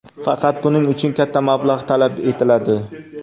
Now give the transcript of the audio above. Faqat buning uchun katta mablag‘ talab etiladi.